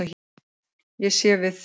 Ég sé við þér.